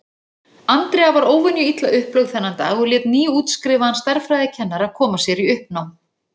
Andrea var óvenju illa upplögð þennan dag og lét nýútskrifaðan stærðfræðikennara koma sér í uppnám.